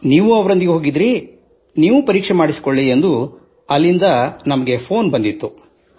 ನೀವೂ ಅವರೊಂದಿಗೆ ಹೋಗಿದ್ದಿರಿ ನೀವೂ ಪರೀಕ್ಷೆ ಮಾಡಿಸಿಕೊಳ್ಳಿ ಎಂದು ಹೇಳಲು ಅಲ್ಲಿಂದ ನಮಗೆ ಫೆÇೀನ್ ಬಂದಿತ್ತು